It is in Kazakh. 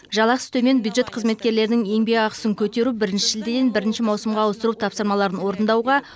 жалақысы төмен бюджет қызметкерлерінің еңбекақысын көтеру бірінші шілдеден бірінші маусымға ауыстыру тапсырмаларын орындауға